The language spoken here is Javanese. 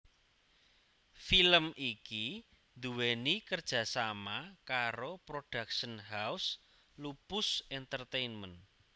Film iki nduweni kerjasama karo Production House Lupus Entertainment